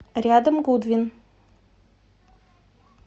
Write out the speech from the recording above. рядом гудвин